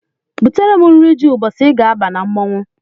Butere m nri ji ụbọchị I ga-aba na mmọnwụ!